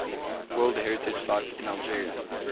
world heritage sites in algeria